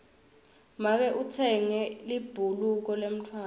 make utsenge libhuluka lemntfwana